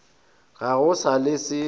ga go sa le se